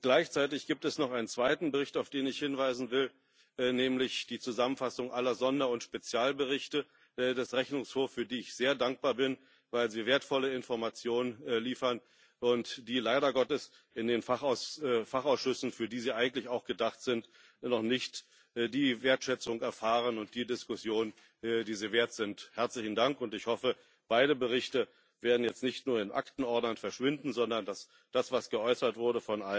Gleichzeitig gibt es noch einen zweiten Bericht, auf den ich hinweisen will, nämlich die Zusammenfassung aller Sonder und Spezialberichte des Rechnungshofs, für die ich sehr dankbar bin, weil sie wertvolle Informationen liefern, und die leider Gottes in den Fachausschüssen, für die sie eigentlich auch gedacht sind, noch nicht die Wertschätzung erfahren und die Diskussion, die sie wert sind. Herzlichen Dank, und ich hoffe, beide Berichte werden jetzt nicht nur in Aktenordnern verschwinden, sondern dass das, was von allen geäußert wurde,